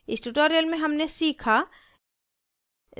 इस tutorial में हमने सीखा